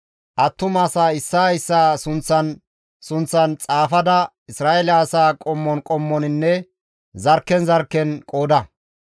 «Attumasaa issaa issaa sunththan sunththan xaafada Isra7eele asaa qommon qommoninne zarkken zarkken qooda.